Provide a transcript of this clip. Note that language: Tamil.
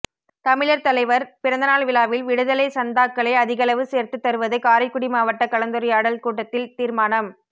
தமிழர் தலைவர் பிறந்தநாள் விழாவில் விடுதலை சந்தாக்களை அதிகளவு சேர்த்து தருவது காரைக்குடி மாவட்ட கலந்துரையாடல் கூட்டத்தில் தீர்மானம்